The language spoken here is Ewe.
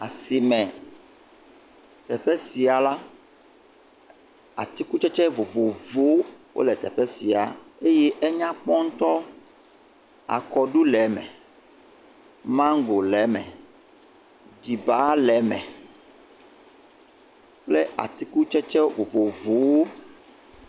Asime. Teƒe sia la, atikutsetse vovovowo wole teƒe sia eye enya kpɔ ŋtɔ. Akɔɖu le me. Mago le eme. Ɖiba le eme kple atikutsetse vovovowo.